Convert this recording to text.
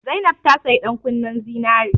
Zainab ta saya ɗan kunnen zinari